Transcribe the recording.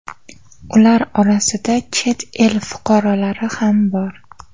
Ular orasida chet el fuqarolari ham bor.